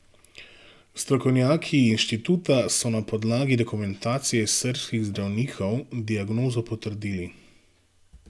Strokovnjaki inštituta so na podlagi dokumentacije srbskih zdravnikov diagnozo potrdili.